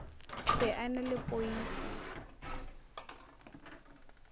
be a na le poifo